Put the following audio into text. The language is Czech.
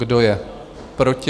Kdo je proti?